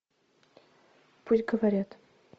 пусть говорят